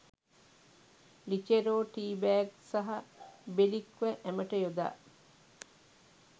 ලිචෙරෝ teabag සහ බෙලික්ව ඇමට යොදා